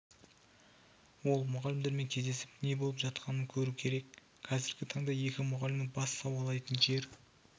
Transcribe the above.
ол мұғалімдермен кездесіп не болып жатқанын көру керек қазіргі таңда екі мұғалімнің бас сауғалайтын жер